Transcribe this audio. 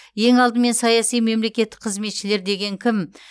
ең алдымен саяси мемлекеттік қызметшілер деген кім